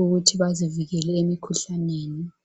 ukuthi bazivikele emikhuhlaneni.